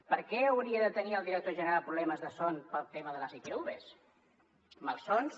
per què hauria de tenir el director general problemes de son pel tema de les itvs malsons